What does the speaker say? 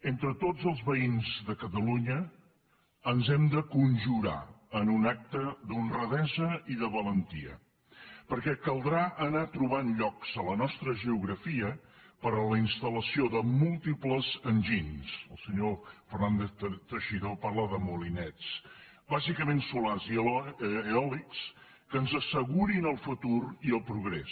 entre tots els veïns de catalunya ens hem de conjurar en un acte d’honradesa i de valentia perquè caldrà anar trobant llocs a la nostra geografia per a la installació de múltiples enginys el senyor fernández teixidó parla de molinets bàsicament solars i eòlics que ens assegurin el futur i el progrés